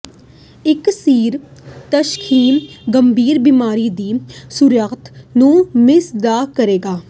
ਇੱਕ ਸਿਰ ਤਸ਼ਖੀਸ ਗੰਭੀਰ ਬੀਮਾਰੀ ਦੀ ਸ਼ੁਰੂਆਤ ਨੂੰ ਮਿਸ ਨਾ ਕਰੇਗਾ